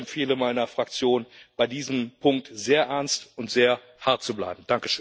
Ich empfehle meiner Fraktion, bei diesem Punkt sehr ernst und sehr hart zu bleiben.